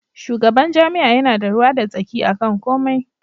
Shugaban jami'a yana da ruwa da tsaki akan komai.